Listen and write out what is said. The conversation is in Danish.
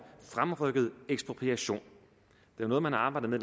fremrykket ekspropriation det er noget man har arbejdet med